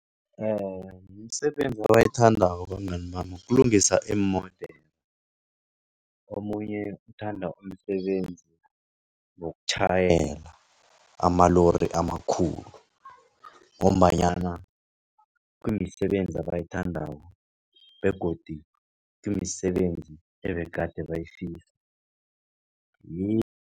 Imisebenzi abayithandako abangani bami kulungisa iimodere. Omunye uthanda umsebenzi wokutjhayela amalori amakhulu, ngombanyana kumisebenzi abayithandako begodu kumisebenzi ebegade bayifisa